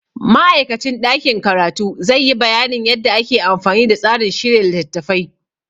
Ma'aikacin ɗakin karatu zai yi bayanin yadda ake amfani da tsarin shirya littattafai.